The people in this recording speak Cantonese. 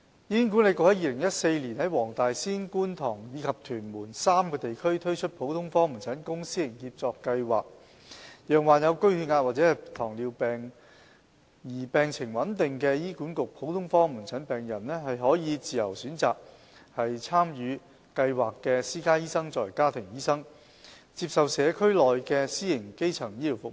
醫管局於2014年在黃大仙、觀塘及屯門3個地區推出普通科門診公私營協作計劃，讓患有高血壓或糖尿病而病情穩定的醫管局普通科門診病人，可以自由選擇參與計劃的私家醫生作為家庭醫生，接受社區內的私營基層醫療服務。